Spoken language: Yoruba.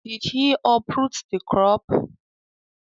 Did he uproot the crop?